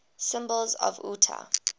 symbols of utah